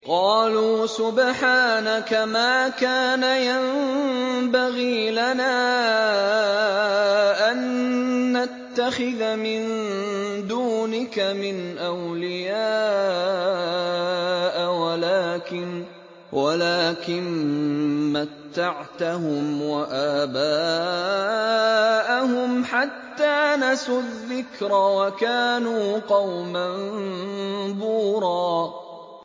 قَالُوا سُبْحَانَكَ مَا كَانَ يَنبَغِي لَنَا أَن نَّتَّخِذَ مِن دُونِكَ مِنْ أَوْلِيَاءَ وَلَٰكِن مَّتَّعْتَهُمْ وَآبَاءَهُمْ حَتَّىٰ نَسُوا الذِّكْرَ وَكَانُوا قَوْمًا بُورًا